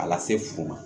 A lase fu ma